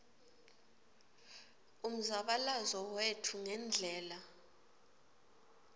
umzabalazo wetfu ngendlela